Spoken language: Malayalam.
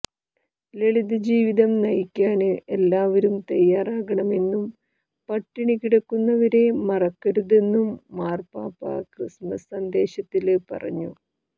ലളിതജീവിതം നയിക്കാന് എല്ലാവരും തയ്യാറാകണമെന്നും പട്ടിണി കിടക്കുന്നവരെ മറക്കരുതെന്നും മാര്പ്പാപ്പ ക്രിസ്മസ് സന്ദേശത്തില് പറഞ്ഞു